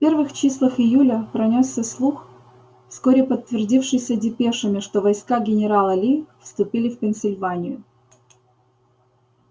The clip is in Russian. в первых числах июля пронёсся слух вскоре подтвердившийся депешами что войска генерала ли вступили в пенсильванию